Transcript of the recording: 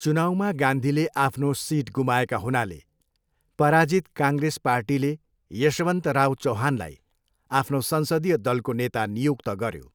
चुनाउमा गान्धीले आफ्नो सिट गुमाएका हुनाले, पराजित काङ्ग्रेस पार्टीले यशवन्तराव चौहानलाई आफ्नो संसदीय दलको नेता नियुक्त गऱ्यो।